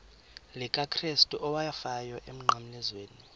likakrestu owafayo emnqamlezweni